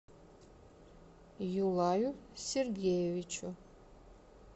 юлаю сергеевичу